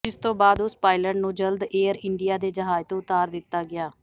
ਜਿਸ ਤੋਂ ਬਾਅਦ ਉਸ ਪਾਇਲਟ ਨੂੰ ਜਲਦ ਏਅਰ ਇੰਡੀਆ ਦੇ ਜਹਾਜ਼ ਤੋਂ ਉਤਾਰ ਦਿੱਤਾ ਗਿਆ